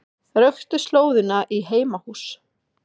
Röktu slóðina í heimahús